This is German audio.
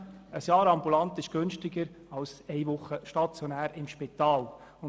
Eine ambulante Behandlung während eines Jahres ist günstiger als ein einwöchiger stationärer Spitalaufenthalt.